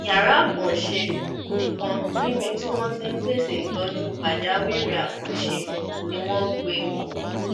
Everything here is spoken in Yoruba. yàrá àkànṣe kan níbi tí wọn ti ń pèsè ìtọjú pàjáwìrì àkànṣe ni wọn gbé e wọ